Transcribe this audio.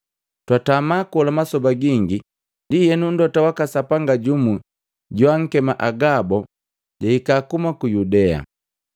Twatama kola masoba gingi, ndienu Mlota waka Sapanga jumu joakema Agabo jahika kuhuma ku Yudea.